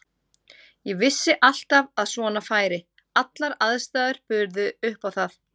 Ég vissi alltaf að svona færi, allar aðstæður buðu upp á það.